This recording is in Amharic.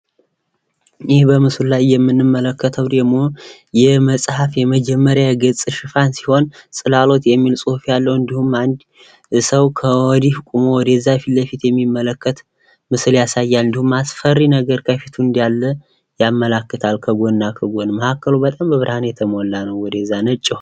ይህ በምስሉ ላይ የምንመለከተው ደሞ የመጽሐፉ የመጀመርያ ገጽ ሺፋን ሲሆን ፤ ጽላሎት የሚል ጽሁፍ ያለዉ እንዲሁም አንድ ሰው ከወዲህ ቁሞ ወደዛ ፊትለፊት የሚመለከት ምስል ያሳያል እንዲሁም አስፈሪ ነገር ከፊቱ እንዳለ ከጎንና ከጎን ፤ መሃከሉ በጣም በብርሃን የተሞላ ነው ወደዚያ ነጭ የሆነ ነው።